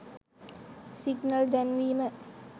signal දැන්වීම